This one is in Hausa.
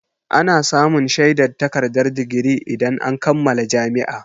Ana samun shaidar takardar digiri idan an kammala jami'a.